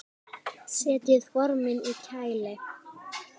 Setjið formin í kæli.